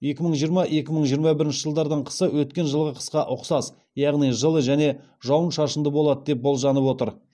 екі мың жиырма екі мың жиырма бірінші жылдардың қысы өткен жылғы қысқа ұқсас яғни жылы және жауын шашынды болады деп болжанып отыр